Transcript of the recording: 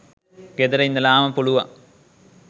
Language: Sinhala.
ගෙදර ඉඳලාම පුළුවන්